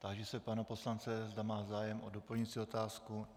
Táži se pana poslance, zda má zájem o doplňující otázku.